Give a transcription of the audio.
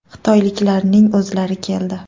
Xitoyliklarning o‘zlari keldi.